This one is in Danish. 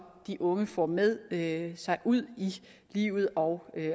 de unge får med med sig ud i livet og